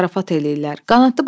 Oynayırlar, zarafat eləyirlər.